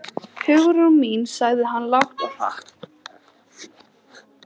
Hugrún mín sagði hann lágt og hratt.